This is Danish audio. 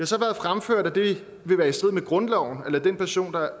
så været fremført at det vil være i strid med grundloven at lade den pension der